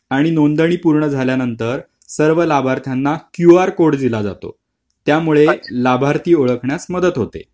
आणि नोंदणी पूर्ण झाल्यानंतर सर्व लाभार्थ्यांना क्यूआर कोड दिला जातो त्यामुळे लाभार्थी ओळखण्यास मदत होते